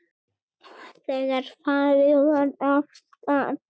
Þegar farið var af stað.